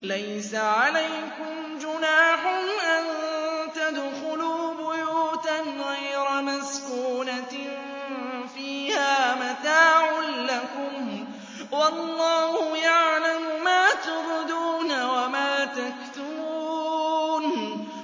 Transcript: لَّيْسَ عَلَيْكُمْ جُنَاحٌ أَن تَدْخُلُوا بُيُوتًا غَيْرَ مَسْكُونَةٍ فِيهَا مَتَاعٌ لَّكُمْ ۚ وَاللَّهُ يَعْلَمُ مَا تُبْدُونَ وَمَا تَكْتُمُونَ